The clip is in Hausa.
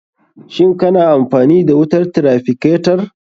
Shin kana amfani da wutar traficatar?